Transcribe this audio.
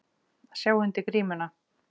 Að sjá undir grímuna